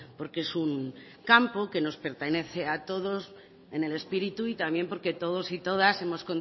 porque es un campo que nos pertenece a todos en el espíritu y también porque todos y todas hemos